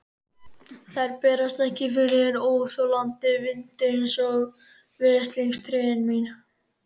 Þær bærast ekki fyrir óþolandi vindi, einsog veslings trén mín.